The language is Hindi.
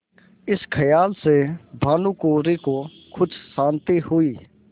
इस खयाल से भानुकुँवरि को कुछ शान्ति हुई